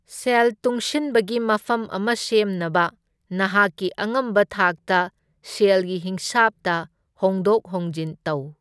ꯁꯦꯜ ꯇꯨꯡꯁꯤꯟꯕꯒꯤ ꯃꯐꯝ ꯑꯃ ꯁꯦꯝꯅꯕ ꯅꯍꯥꯛꯀꯤ ꯑꯉꯝꯕ ꯊꯥꯛꯇ ꯁꯦꯜꯒꯤ ꯍꯤꯁꯥꯚꯇ ꯍꯣꯡꯗꯣꯛ ꯍꯣꯡꯖꯤꯟ ꯇꯧ꯫